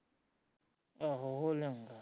ਆਹੋ ਉਹ ਲੈ ਆਊਗਾ